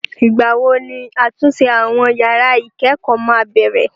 Ìgbàwo ni àtúnṣe àwọn yàrá ìkẹ́kọ̀ọ́ máa bẹ̀rẹ̀?